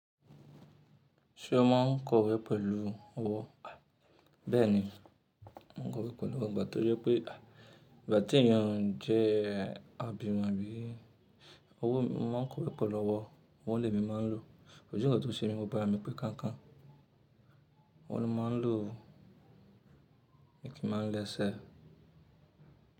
Ṣé o máa ń kọ̀wé pẹ̀lú ọwọ́? Bẹ́ẹ̀ ni, mo n kọ̀wé pẹ̀lú ọwọ́, nigba to je pé ìgbà tí èèyàn jẹ́ àbímọ̀ bí i, owó mo máa ń kọ̀wé pẹ̀lú ọwọ́, ọwọ́ lemi máa ń lọ. Kosi nnkan tó ṣe mi, gbogbo ara mi pé kankan. Ọwọ́ ni mo máa ń lò, mii kii màá ń lẹ'ṣẹ.